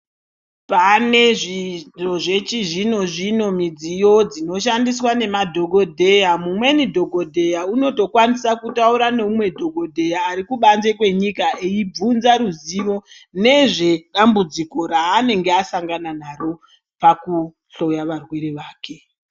Pane zvechizvino zvino midziyo zvinoshandiswa nemadhokodheya .Umweni dhokodheya unotokwanise kutaura neumwe dhokodheya arikubanze kwenyika eibvunza ruzivo nezvedambudziko raanenge asangana naro pakuhloya varwere vake.